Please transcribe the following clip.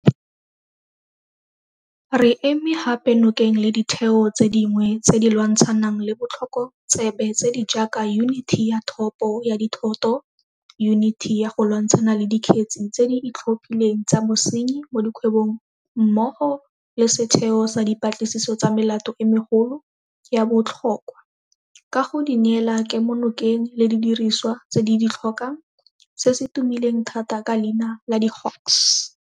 Re eme gape nokeng le ditheo tse dingwe tse di lwantshanang le botlhokotsebe tse di jaaka Yuniti ya Thopo ya Dithoto, Yuniti ya go Lwantshana le Dikgetse tse di Itlhophileng tsa Bosenyi mo Dikgwebong mmogo le Setheo sa Dipatlisiso tsa Melato e Megolo ya Botlho kwa ka go di neela kemonokeng le didirisiwa tse di di tlhokang, se se tumileng thata ka leina la di-Hawks.